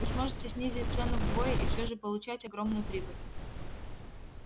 вы сможете снизить цену вдвое и всё же получать огромную прибыль